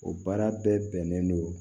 O baara bɛɛ bɛnnen don